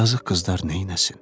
Yazıq qızlar neyləsin?